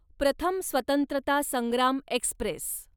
प्रथम स्वत्रंतता संग्राम एक्स्प्रेस